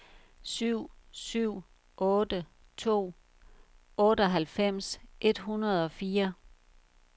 syv syv otte to otteoghalvfems et hundrede og fire